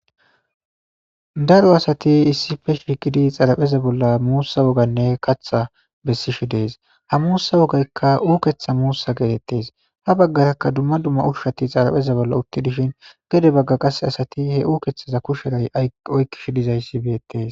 daro asati issi fesh fikidi xarapheza bolla muussa woganne katha bessishi dees ha muussa wogaykka uuketha muussa geetettes ha baggarakka dumma dumma ushshati xarapheza bolla utti dishin gede bagga qase asati he uukethaza kusheray oykkish dizayssi beettes